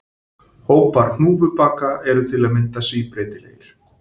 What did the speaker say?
Hópar hnúfubaka eru til að mynda síbreytilegir.